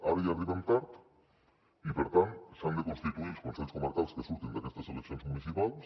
ara ja arribem tard i per tant s’han de constituir els consells comarcals que surtin d’aquestes eleccions municipals